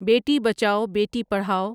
بیٹی بچاؤ بیٹی پڑھاؤ